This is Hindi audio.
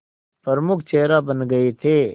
प्रमुख चेहरा बन गए थे